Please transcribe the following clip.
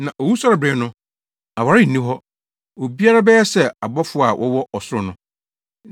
Na owusɔrebere no, aware nni hɔ; obiara bɛyɛ sɛ abɔfo a wɔwɔ ɔsoro no.